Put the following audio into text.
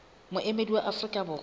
le moemedi wa afrika borwa